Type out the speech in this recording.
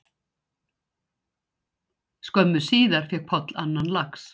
Skömmu síðar fékk Páll annan lax